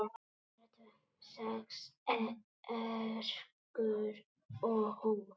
Sex ekrur og hús